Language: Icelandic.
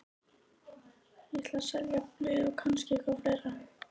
Ég ætla að selja blöð og kannski eitthvað fleira.